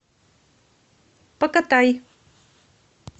покатай